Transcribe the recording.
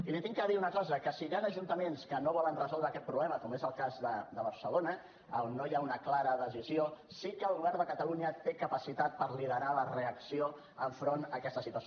i li hagi de dir una cosa que si hi han ajuntaments que no volen resoldre aquest problema com és el cas de barcelona a on no hi ha una clara decisió sí que el govern de catalunya té capacitat per liderar la reacció enfront d’aquesta situació